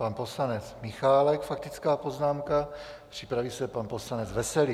Pan poslanec Michálek, faktická poznámka, připraví se pan poslanec Veselý.